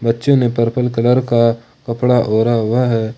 बच्चे ने purple colour का कपड़ा ओढ़ा हुआ है।